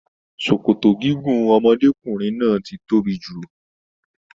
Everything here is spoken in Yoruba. Sòkòtò gígùn ọmọdékunrin náà tí tóbi jù.